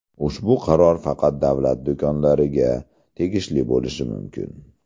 Ushbu qaror faqat davlat do‘konlariga tegishli bo‘lishi mumkin.